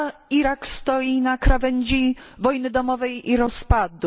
Irak stoi na krawędzi wojny domowej i rozpadu.